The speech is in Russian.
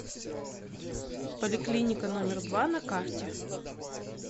поликлиника номер два на карте